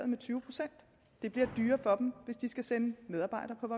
med tyve procent det bliver dyrere for dem hvis de skal sende medarbejdere på